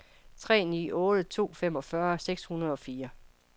tre ni otte to femogfyrre seks hundrede og fire